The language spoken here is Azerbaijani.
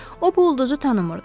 O bu ulduzu tanımırdı.